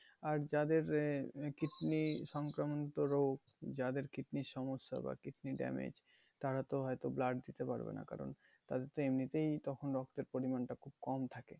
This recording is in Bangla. আর যাদের এ আহ kidney সংক্রমণত রোগ যাদের kidney এর সমস্যা বা kidney damage তারা তো হয়তো blood দিতে পারবে না কারণ তাদের তো এমনিতেই তখন রক্তের পরিমাণটা খুব কম থাকে